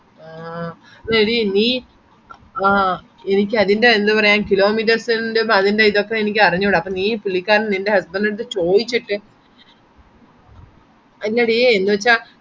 എല്ലാ googlemap എടുത്ത് കഴിഞ്ഞാൽ അറിയാ ചേട്ടന്റേടത് ഞാൻ പറഞ്ഞിരുന്നില്ലേ നിങ്ങളെ